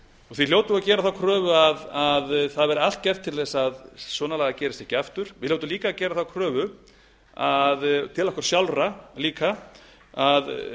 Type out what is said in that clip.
því hljótum við að gera þá kröfu að það verði allt gert til þess að svona lagað gerist ekki aftur við hljótum líka að gera þá kröfu til okkar sjálfra líka að